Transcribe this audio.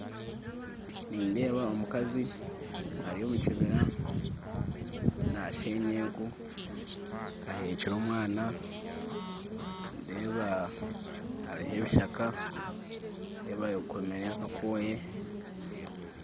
Nindeeba omukazi ari omu kibira nasheenya enku aheekire omwana nindeeba hariho ebishaka nindeeba ayekomire akakooyi